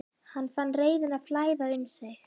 Hann fann reiðina flæða um sig.